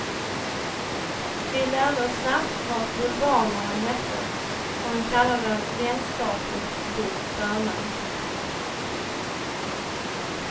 Vi lärde oss snabbt vad bulvanerna hette, för han kallade dem vänskapligt vid förnamn.